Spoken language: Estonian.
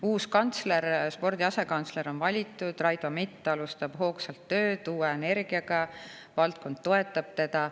Uus kantsler, spordi asekantsler on valitud, Raido Mitt alustab hoogsalt tööd, uue energiaga, valdkond toetab teda.